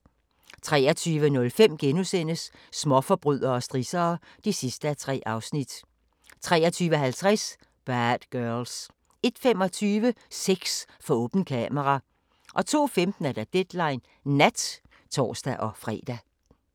23:05: Småforbrydere og strissere (3:3)* 23:50: Bad Girls 01:25: Sex for åbent kamera 02:15: Deadline Nat (tor-fre)